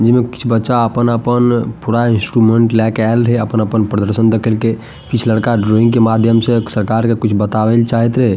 जे में कुछ बच्चा अपन-अपन पूरा इंस्ट्रूमेंट ले के आईल हे अपन अपन प्रदर्शन देखईलकै कुछ लड़का ड्राइंग के माध्यम से सरकार के कुछ बतावेल चाहेत हे --